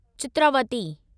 Chitravati